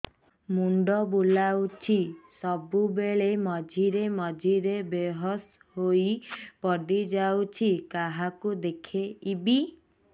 ମୁଣ୍ଡ ବୁଲାଉଛି ସବୁବେଳେ ମଝିରେ ମଝିରେ ବେହୋସ ହେଇ ପଡିଯାଉଛି କାହାକୁ ଦେଖେଇବି